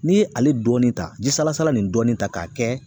N'i ye ale dɔɔnin ta ji salasala nin dɔɔnin ta k'a kɛ